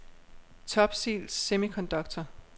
Topsil Semiconductor